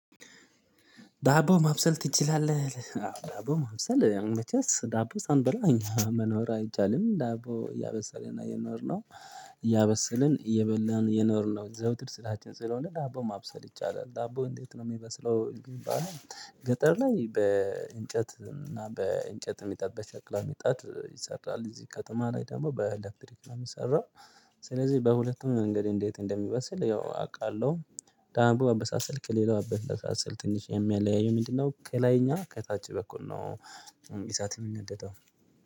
ዳቦ ማብሰል ትችላለህ? ዳቦ ማብሰል ያን መቼስ ዳቦ ሳንበላ እኛ መኖር አይቻልም። ዳቦ ያበሰልን የኖርነው እያበሰልን እየበላን የኖርነው። የዘወትር ስራችን ስለሆነ ዳቦ ማብሰል ይቻላል። ዳቦ እንዴት ነው የሚመስለው? ገጠር ላይ በእንጨት እና በእንጨት የሚጠበቅ ሸክላ የምጣድ ይሰራል። እዚህ ከተማ ላይ ደግሞ በኤሌክትሪክ ነው የሚሰራው። ስለዚህ በሁለቱም መንገድ እንዴት እንደሚበስል ያው አውቃለሁ። ዳቦ አበሳሰልክ ከሌላው አበሳሰል ትንሽ የሚያለያየው ምንድነው ከላይ እኛ ከታች በኩል ነው እንግዲህ እሳት የምነደደው።